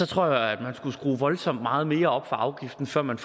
tror jeg at man skulle skrue voldsomt meget mere op for afgiften før man